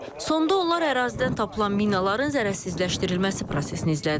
Sonda onlar ərazidən tapılan minaların zərərsizləşdirilməsi prosesini izlədilər.